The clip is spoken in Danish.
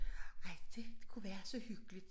Ej det kunne være så hyggeligt